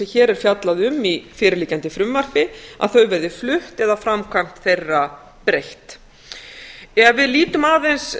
hér er fjallað um í fyrirliggjandi frumvarpi verði flutt eða framkvæmd þeirra breytt ef við lítum aðeins